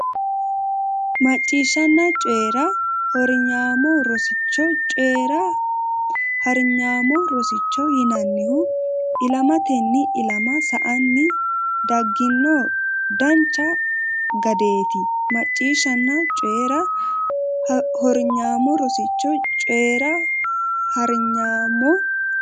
Macciishshanna Coyi ra Hornyaamo Rosicho Coyi ra Harnyaamo rosicho yinannihu Ilamatenni ilama sa anni daggino dancha gadeeti Macciishshanna Coyi ra Hornyaamo Rosicho Coyi ra Harnyaamo.